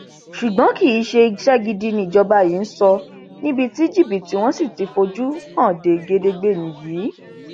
ṣùgbọn kì í ṣe iṣẹ gidi nijọba yìí ń sọ níbi tí jìbìtì wọn sì ti fojú hàn gedegbe nìyí